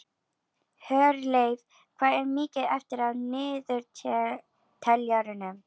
Hjörleif, hvað er mikið eftir af niðurteljaranum?